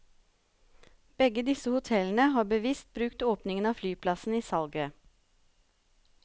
Begge disse hotellene har bevisst brukt åpningen av flyplassen i salget.